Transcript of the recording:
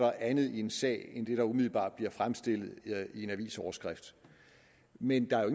er andet i en sag end det der umiddelbart bliver fremstillet i en avisoverskrift men der er jo